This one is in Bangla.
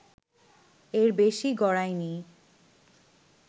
এর বেশি গড়ায়নি